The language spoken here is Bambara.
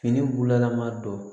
Fini bulalama don